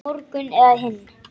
Morgun eða hinn.